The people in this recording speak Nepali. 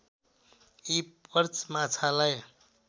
यी पर्च माछालाई